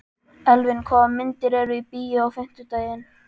Elvin, hvaða myndir eru í bíó á fimmtudaginn?